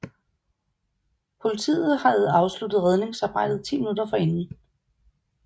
Politiet havde afsluttet redningsarbejdet ti minutter forinden